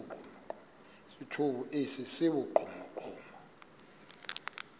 esithomo esi sibugqomogqomo